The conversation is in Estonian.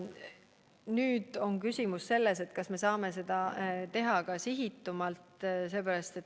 Nüüd on küsimus selles, kas me saame seda teha sihitatumalt.